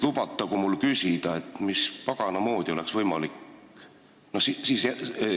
Lubatagu mul küsida, mis pagana moodi oleks võimalik seda teha.